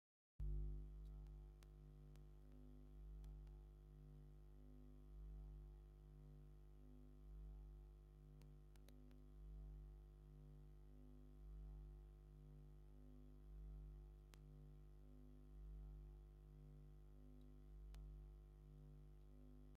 ናይ ሓበሻ ቀምሽ ካብ ጡጥ ዝተሰርሐ ጥልፉ ድማ ብስንጀር ኮይኑ መስቀል መሰቀል ዲዛይን ዘለዎ ብወርቃነማን ፃዕዳን ኣሎ እዛ ጋ ኣብ ምንታይ ኮፍ ኢላ ኣላ ?